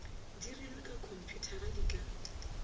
dirilwe ka khomphuthara di ka